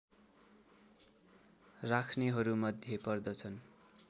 राख्नेहरूमध्ये पर्दछन्